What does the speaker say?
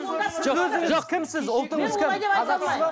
кімсіз ұлтыңыз кім қазақсыз ба